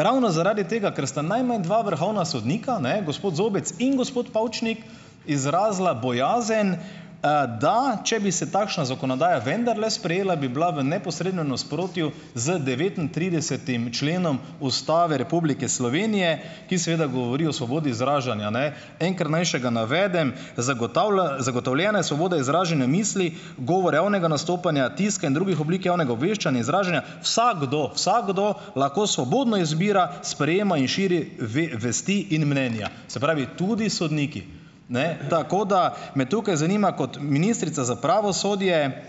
ravno zaradi tega, ker sta najmanj dva vrhovna sodnika, ne - gospod Zobec in gospod Pavčnik - izrazila bojazen, da če bi se takšna zakonodaja vendarle sprejela, bi bila v neposrednem nasprotju z devetintridesetim členom Ustave Republike Slovenije, ki seveda govori o svobodi izražanja. Ne. Enkrat naj še ga navedem: "Zagotovljena je svoboda izražanja misli, govor javnega nastopanja, tiska in drugih oblik javnega obveščanj, izražanja, vsakdo vsakdo lahko svobodno izbira, sprejema in širi vesti in mnenja." Se pravi, tudi sodniki, ne? Tako da, me tukaj zanima, kot ministrica za pravosodje,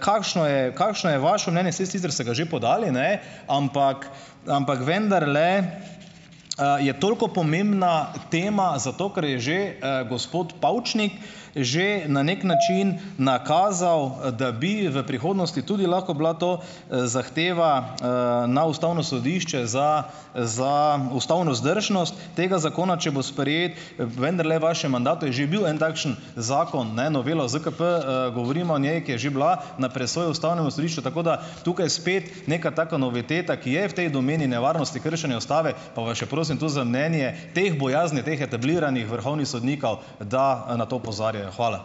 kakšno je, kakšno je vašo mnenje? Saj sicer ste ga že podali, ne? Ampak. Ampak vendarle, je toliko pomembna tema, zato ker je že, gospod Pavčnik, že na neki način nakazal, da bi v prihodnosti tudi lahko bila to, zahteva, na Ustavno sodišče za za ustavno vzdržnost tega zakona, če bo sprejet, vendarle vašem mandatu je že bil en takšen zakon, ne? Novela ZKP, govoriva o njej, ki je že bila na presoji ustavnem sodišču, tako da tukaj spet neka taka noviteta, ki je v tej domeni nevarnosti kršenja ustave, pa vas še prosim tu za mnenje, teh bojazni teh "etabliranih" vrhovnih sodnikov, da na to opozarjajo. Hvala.